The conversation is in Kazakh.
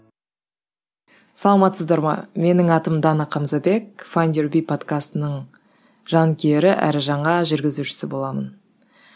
саламатсыздар ма менің атым дана қамзабек файндюрби подкастының жанкүйері әрі жаңа жүргізушісі боламын